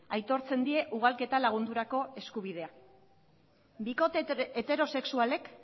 aitortzen die ugalketa lagundurako eskubidea bikote heterosexualek